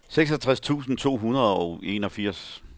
seksogtres tusind to hundrede og enogfirs